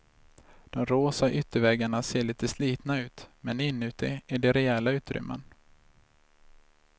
De rosa ytterväggarna ser lite slitna ut men inuti är det rejäla utrymmen.